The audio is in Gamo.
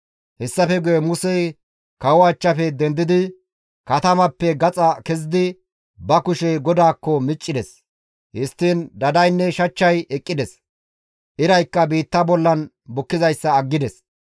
Hessafe guye Musey kawoza achchafe dendidi katamappe gaxa kezidi ba kushe GODAAKKO miccides; histtiin dadaynne shachchay eqqides; iraykka biitta bolla bukkizayssa aggides.